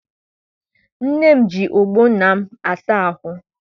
Nne m ji ọgbọ nna m asa ahụ.